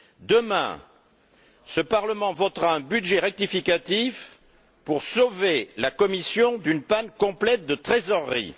Demain, ce Parlement votera sur un budget rectificatif pour sauver la Commission d'une panne complète de trésorerie.